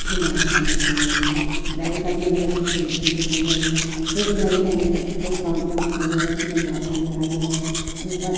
ये मेरिकल दिखाई दे रही है मेरिकल के अंदर एक कुर्सी दिखाई दे रही है एक मेरिकल मेरे को एक कोल्टन दिखाई दे रहा उस में मेथा दिखाई दे रहा है ऊपर--